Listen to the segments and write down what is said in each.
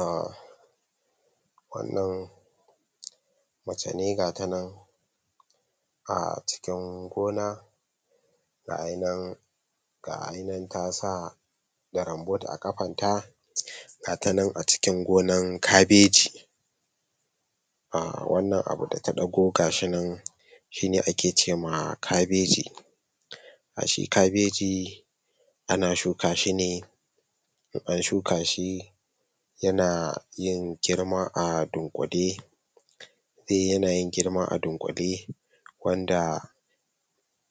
um wannan mace ne gatanan um acikin gona gayi nan ga ayniyin tasa da rambot a kafanta gatanan acikin gonan kabeji um wanan abu da ta dago kashin nan shine ake cema kabeji a she kabeji ana shuka shi ne in an shuka shi yana yi girma adunkule yana yin girman a dunkule wanda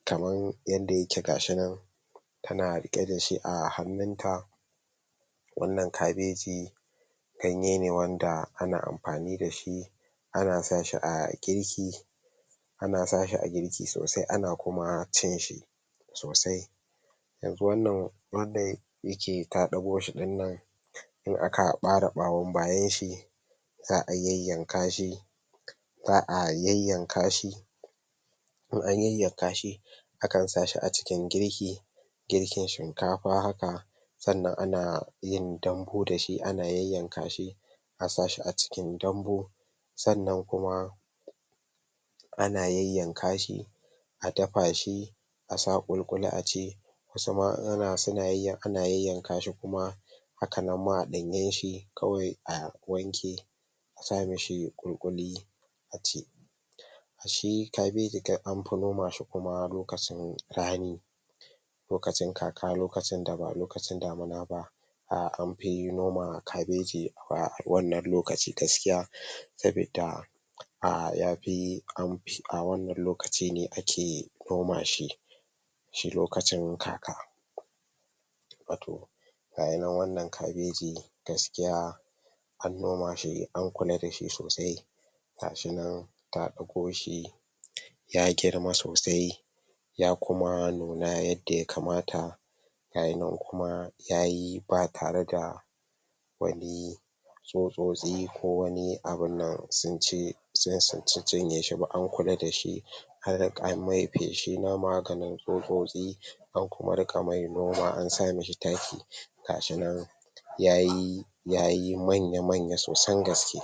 kamar yadda yake gashi nan tana riƙe da shi a hannun ta wannan kabeji ganye ne wanda ane amfani da ana sa shi a girki ana sashi a girki sosai ana kuma cinshi sosai yanzu wannan wanda yake taɗagoshi din nan in aka bare bayan shi za'a yanyankashi za'a yanyankashi in an yanyankashi akan sa shi acikin girki girkin shinkafa sannan ana yin dambu dashi ana yanyankashi a sashi acikin dambu sannan kuma ana yanyankashi adafa shi asa kulikuli aci wasu ma ana iya yanyankashi kuma haka nan ma a danyenshi kawai a ɗan wanke asamishi kulikuli a ci shi kabaeji dai anfi nomashi kuma lokacin rani lokacin kaka lokacin da ba lokacin damuna ba um anfi noma kabeji a wannan lokaci gaskiya sabida um yafi anfi a wannan lokacin ake nomashi shi lokacin um gayi nan wannan kabeji gaskiya an nomashi an kula da shi sosai gashi nan ta dauko shi ya girma sosai ya kuma nuna yadda ya kamata gayi nan kuma yayi ba tare da wani tsutsotsi ko wani abun nan sunci sun cinye yeshi an kula da sgi an kula da shi anriga an yi mishi feshin maganini tsutsotsi an kuma riqa mai noma an samishi taki gashi nan yayi yayi manya manya sosai gaske